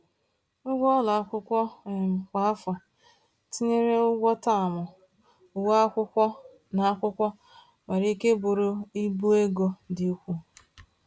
Ụgwọ ụlọ akwụkwọ um kwa afọ, tinyere ụgwọ taamụ, uwe akwụkwọ, na akwụkwọ, nwere ike bụrụ ibu ego dị ukwuu.